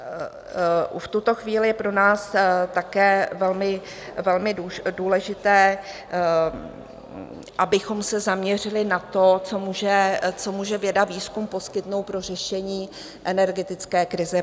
V tuto chvíli je pro nás také velmi důležité, abychom se zaměřili na to, co může věda, výzkum poskytnout pro řešení energetické krize.